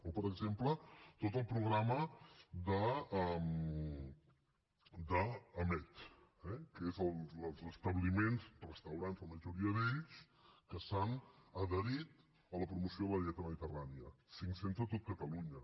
o per exemple tot el programa d’amed eh que és dels establiments restaurants la majoria d’ells que s’han adherit a la promoció de la dieta mediterrània cinc cents a tot catalunya